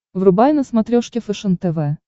врубай на смотрешке фэшен тв